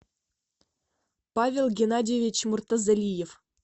павел геннадьевич муртазалиев